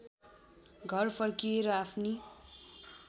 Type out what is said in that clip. घर फर्किए र आफ्नी